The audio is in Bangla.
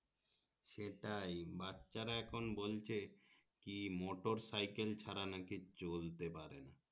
সেটাই বাচ্ছারা এখন বলছে কি মোটর সাইকেল ছাড়া নাকি চলতে পারে না